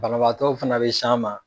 Banabaatɔw fana bɛ s'an ma.